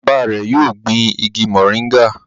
Bàbá rẹ yóò gbìn ìgi moringa